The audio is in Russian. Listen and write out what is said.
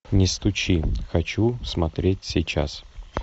не стучи хочу смотреть сейчас